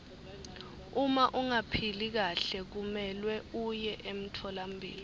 uma ungaphili kahle kumelwe uye emtfolampilo